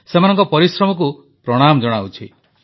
ସେମାନଙ୍କ ପରିଶ୍ରମକୁ ପ୍ରଣାମ ଜଣାଉଛି